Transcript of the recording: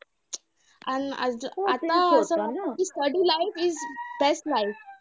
अन आज आता असं झालं कि study life is best life